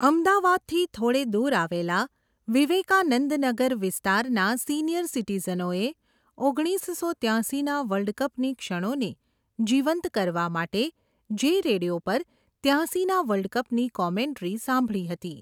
અમદાવાદથી થોડે દૂર આવેલા, વિવેકાનંદ નગર વિસ્તારના સિનીયર સિટીઝનોએ, ઓગણીસસો ત્યાંસી ના વર્લ્ડકપની ક્ષણોને, જીવંત કરવા માટે, જે રેડીયા પર ત્યાંસી ના વર્લ્ડકપની કોમેન્ટ્રી સાંભળી હતી.